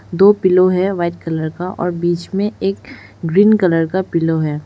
दो पिलो है white colour का और बीच में एक ग्रीन कलर का पिलो है।